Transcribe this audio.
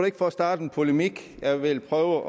ikke for at starte en polemik jeg vil prøve